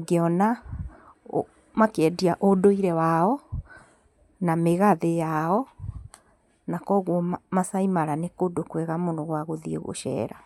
ngĩona makĩendia ũndũire wao na mĩgathĩ yao na koguo Maasai Mara nĩ kũndũ kwega mũno gwa gũthiĩ gũcera.